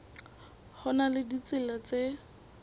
ho na le ditsela tse